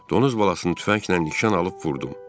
Donuz balasını tüfənglə nişan alıb vurdum.